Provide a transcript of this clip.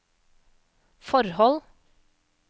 forhold